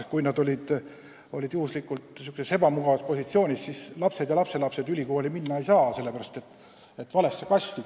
Kui nad töötasid teatud ametis, siis nende lapsed ja lapselapsed ülikooli minna pole saanud – kuuluvad valesse kasti.